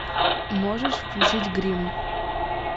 можешь включить гримм